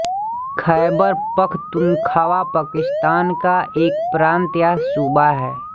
ख़ैबरपख़्तूनख़्वा पाकिस्तान का एक प्रान्त या सूबा है